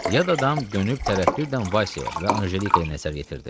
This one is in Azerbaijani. Yad adam dönüb tərəddüdlə Valsiya və Anjelikaya nəzər yetirdi.